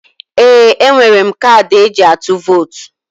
Ee! E nwere m kadị e ji atụ vot.